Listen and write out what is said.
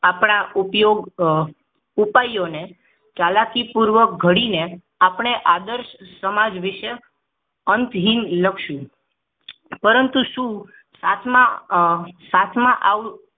આપણા ઉપયોગ ઉપાયો ને ચાલાકીપૂર્વક ઘડીને આપણે આદર્શ સમાજ વિશે અંતહીન લખશું પરંતુ શું સાથ માં સાથ માં